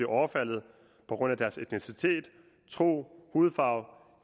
overfaldet på grund af deres etnicitet tro hudfarve